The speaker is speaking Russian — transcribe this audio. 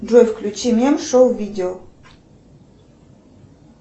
джой включи мем шоу видео